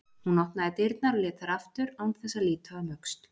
Hún opnaði dyrnar og lét þær aftur án þess að líta um öxl.